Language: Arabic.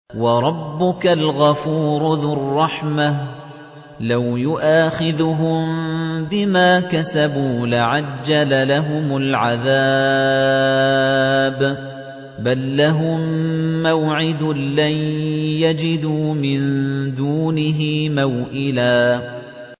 وَرَبُّكَ الْغَفُورُ ذُو الرَّحْمَةِ ۖ لَوْ يُؤَاخِذُهُم بِمَا كَسَبُوا لَعَجَّلَ لَهُمُ الْعَذَابَ ۚ بَل لَّهُم مَّوْعِدٌ لَّن يَجِدُوا مِن دُونِهِ مَوْئِلًا